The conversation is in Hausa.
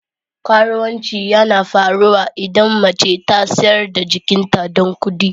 Karuwanci yana faruwa idan mace ta sayar da jikinta don kudi.